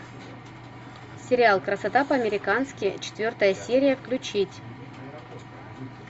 сериал красота по американски четвертая серия включить